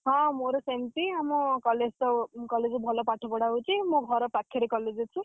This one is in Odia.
ହଁ ମୋର ସେମତି ଆମ college ତ college ରେ ଭଲପାଠ ପଢାହଉଛି। ମୋ ଘର ପାଖରେ college ଅଛି।